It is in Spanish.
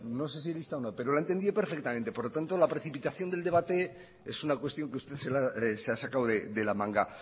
no sé si lista o no pero lo ha entendido perfectamente por lo tanto la precipitación del debate es una cuestión que usted se ha sacado de la manga